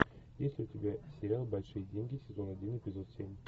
есть ли у тебя сериал большие деньги сезон один эпизод семь